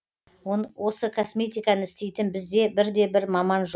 осы косметиканы істейтін бізде бірде бір маман жоқ